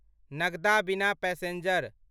नगदा बिना पैसेंजर